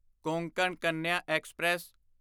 Konkan Kanya express